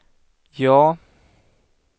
ja